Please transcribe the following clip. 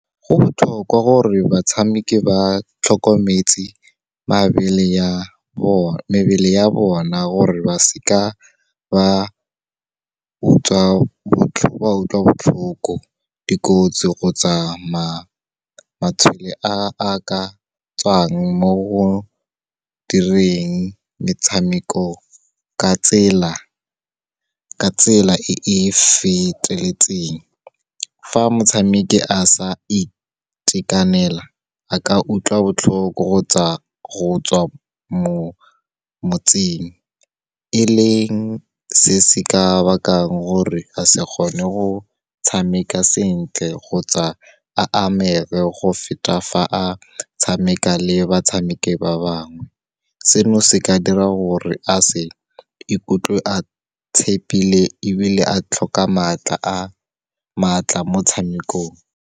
Go botlhokwa gore batshameki ba tlhokometse mebele ya bona, gore ba seka ba utlwa botlhoko. Dikotsi kgotsa a ka tswang mo go direng metshameko ka tsela e e feteletseng, fa motshameki a sa itekanela, a ka utlwa botlhoko kgotsa go tswa mo motseng, e leng se se ka bakang gore a se kgone go tshameka sentle kgotsa a amege go feta fa a tshameka le batshameki ba bangwe. Seno, se ka dira gore a se ikutlwe a tshepile ebile a tlhoka maatla motshamekong.